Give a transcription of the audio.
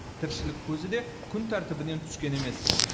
тіршілік көзі де күн тәртібінен түскен емес